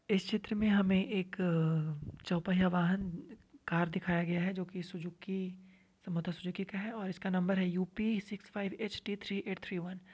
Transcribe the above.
इस चित्र में हमें एक चोपहिया वहान कार दिखाया गया है। जो की सुजुकी मतलब सुजुकी का है और इसका नंबर है UP six five HT three eight three one.